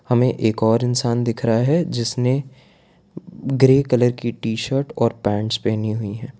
हमें एक और इंसान दिख रहा है जिसने ग्रे कलर की टी शर्ट और पेंट्स पहनी हुई --